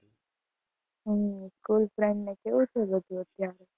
હમ કોઈ friend ને કેવું તું.